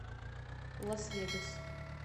лас вегас